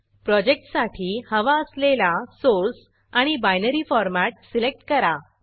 project साठी हवा असलेला सोर्स सोर्स आणि binary format binary format select करा